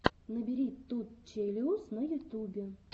набери ту челэуз на ютубе